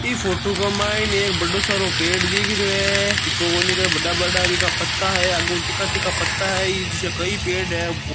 इस फोटो मा मुझे एक बड़ो सारो पेड़ दिख रो है हा इसका बड़ा बड़ा बीका पत्ता है इ जिसे कई पेड़ है।